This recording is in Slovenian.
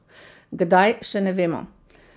Kdaj, še ne vemo.